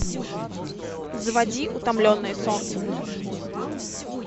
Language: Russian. заводи утомленные солнцем